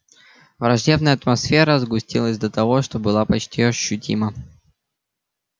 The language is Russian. враждебная атмосфера сгустилась до того что была почти ощутима